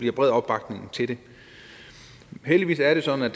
en bred opbakning til det heldigvis er det sådan at